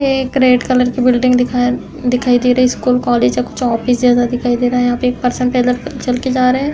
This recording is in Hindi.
ये एक रेड कलर की बिल्डिंग दिखाई दिखाई दे रही। स्कूल कॉलेज या कुछ ऑफिस जैसा दिखाई दे रहा हैं यहाँ पे एक पर्सन पैदल चल के जा रहा है।